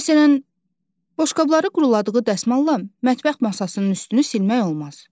Məsələn, boşqabları quruladığı dəsmalla mətbəx masasının üstünü silmək olmaz.